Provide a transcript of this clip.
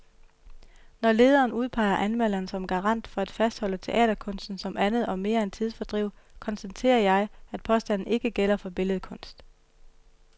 Når lederen udpeger anmelderen som garant for at fastholde teaterkunsten som andet og mere end tidsfordriv, konstaterer jeg, at påstanden ikke gælder for billedkunst.